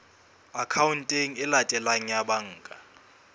akhaonteng e latelang ya banka